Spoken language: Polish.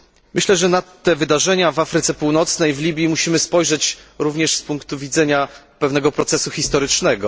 Myślę, że na te wydarzenia w Północnej Afryce, w Libii musimy spojrzeć również z punktu widzenia pewnego procesu historycznego.